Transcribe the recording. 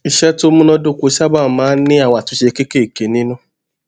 iṣé tó múnádóko sábà máa ń ní àwọn àtúnṣe kéékèèké nínú